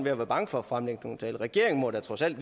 at være bange for at fremlægge nogle tal for regeringen må da trods alt